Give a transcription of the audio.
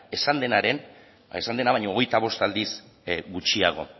esan dena baino hogeita bost aldiz gutxiago